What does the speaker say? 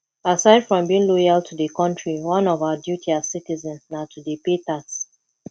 aside from being loyal to di country one of our duty as citizens na to dey pay tax